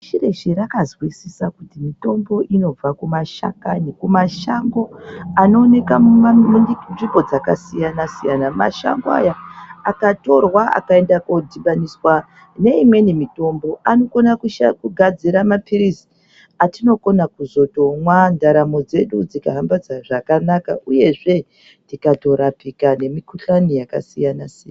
Pashi reshe rakazwisisa kuti mitombo inobva kumashakani kumashango anooneka munzvimbo dzakasiyanasiyana mashango aya akatorwa akano dhibaniswa neimweni mitombo anokona kugadzira mapilizi atinokona kuzotomwa ndaramo dzedu dzikahambe zvakanaka uyezve tikatorapike nemikhuhlane yakasiyanasiyana.